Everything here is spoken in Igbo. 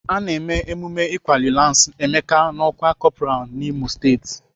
Ana eme emume ịkwali lansi Emeka n'ọkwá kọpral n'Imo steeti.